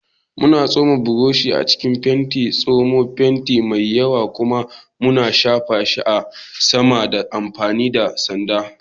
Muna tsoma burushi a cikin fenti, tsamo fenti mai yawa, kuma muna shafa shi a saman ta amfani da sanda.